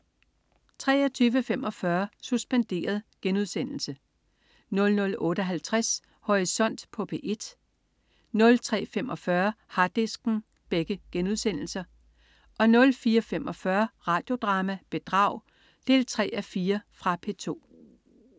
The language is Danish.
23.45 Suspenderet* 00.58 Horisont på P1* 03.45 Harddisken* 04.45 Radio Drama: Bedrag 3:4. Fra P2